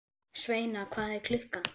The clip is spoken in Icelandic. Sveina, hvað er klukkan?